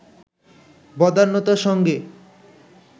বদান্যতার সঙ্গে